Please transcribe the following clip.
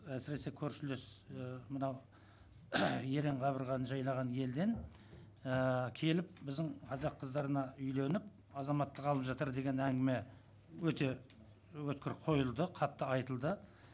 әсіресе көршілес і мынау ерен қабырғаны жайлаған елден ііі келіп біздің қазақ қыздарына үйленіп азаматтық алып жатыр деген әңгіме өте өткір қойылды қатты айтылды